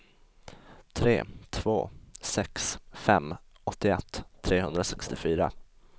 tre två sex fem åttioett trehundrasextiofyra